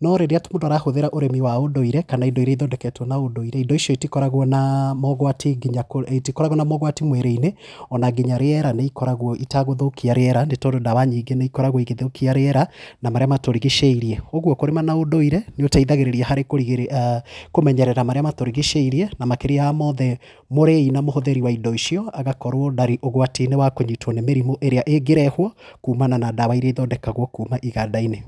No rĩria mũndu aratũmĩra ũrĩmi wa ũndũire, kana indo iria ithondeketwo na ũndũire, indo icio itikoragwo na mogwati nginya, itikoragwo na mogwati mwĩrĩ-inĩ, ona nginya rĩera nĩ ikoragwo itagũthũkia rĩera nĩ tondũ ndawa nyingĩ nĩ ikoragwo igĩthũkia rĩera, na marĩa matũrigicĩirie. Ũguo kũrima na ũndũire, nĩũteithagĩrĩria harĩ kũrigĩrĩria, kũmenyerera marĩa matũrigicĩirie, na makĩria mothe, mũrĩi na mũhũthĩri wa indi icio agakorwo ndarĩ ũgwati-inĩ wa kũnyitwo nĩ mĩrimũ ĩrĩa ĩngĩrehwo kuumana na ndawa iria ithondekagwo kuuma iganda-inĩ.